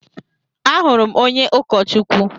Ahụrụ m onye ụkọchukwu.